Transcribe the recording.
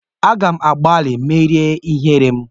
Aga m agbalị imeri ihere m.